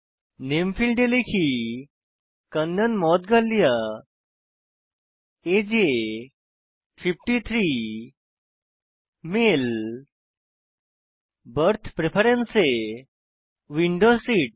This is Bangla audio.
নামে ফীল্ডে লিখি কান্নন মৌদগল্য আগে এ 53 মালে বার্থ প্রেফারেন্স এ উইন্ডো সিট